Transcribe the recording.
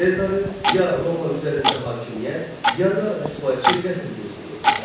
Sezarı ya Roma üzərində hakimiyyət, ya da rüsvayçı qətl gözləyirdi.